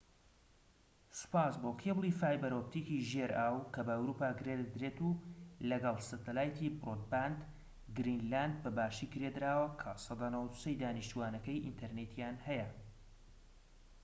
سوپاس بۆ کێبڵی فایبەر ئۆتپیکی ژێر ئاو کە بە ئەوروپا گرێدەدرێت و لەگەڵ سەتەلایتی برۆدباند، گرینلاند بە باشی گرێدراوە کە 93%ی دانیشتوانەکەی ئینتەرنێتیان هەیە